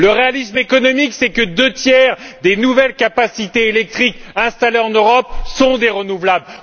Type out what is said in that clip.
Le réalisme économique, c'est que deux tiers des nouvelles capacités électriques installées en Europe sont des sources d'énergie renouvelables.